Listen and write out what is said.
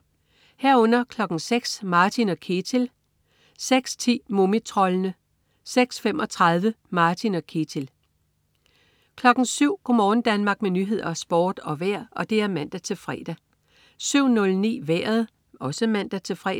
06.00 Martin og Ketil (man-fre) 06.10 Mumitroldene (man-fre) 06.35 Martin og Ketil (man-fre) 07.00 Go' morgen Danmark med nyheder, sport og vejr (man-fre) 07.00 Nyhederne og Sporten (man-fre) 07.09 Vejret (man-fre)